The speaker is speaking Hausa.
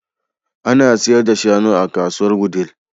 An sayar da shanu a kasuwar Wudil.